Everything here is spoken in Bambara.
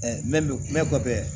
mɛn kɔfɛ